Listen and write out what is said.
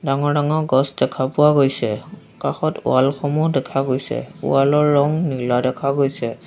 ডাঙৰ ডাঙৰ গছ দেখা পোৱা গৈছে কাষত ৱাল সমূহ দেখা গৈছে ৱাল ৰ ৰং নীলা দেখা গৈছে।